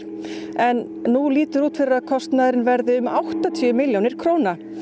en nú lítur út fyrir að kostnaðurinn verði um áttatíu milljónir króna